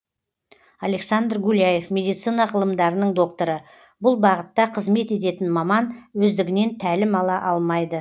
александр гуляев медицина ғылымдарының докторы бұл бағытта қызмет ететін маман өздігінен тәлім ала алмайды